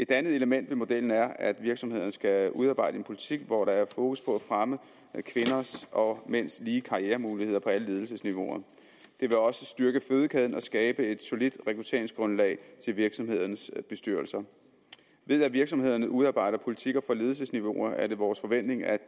et andet element ved modellen er at virksomhederne skal udarbejde en politik hvor der er fokus på at fremme kvinders og mænds lige karrieremuligheder på alle ledelsesniveauer det vil også styrke fødekæden og skabe et solidt rekrutteringsgrundlag til virksomhedernes bestyrelser ved at virksomhederne udarbejder politikker for ledelsesniveauet er det vores forventning at